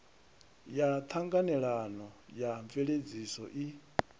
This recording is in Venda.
ya ṱhanganelano ya mveledziso i